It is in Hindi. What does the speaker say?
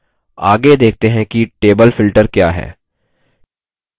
आगे देखते हैं कि table filter क्या है